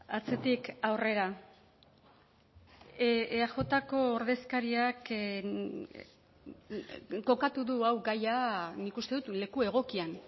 atzetik aurrera eajko ordezkariak kokatu du hau gaia nik uste dut leku egokian